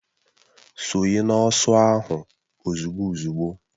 Sonye n'ọsọ ahụ ozugbo uzugbo!